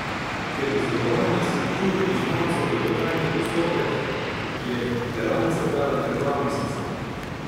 Ker izdelovanje skulptur iz mavca dolgotrajni postopek, je delavnica trajala kar dva meseca.